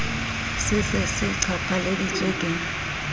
se se se qhaphaleditswe ke